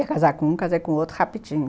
Ia casar com um, casei com outro rapidinho.